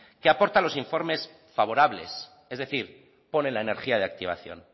que aporta los informes favorables es decir ponen la energía de activación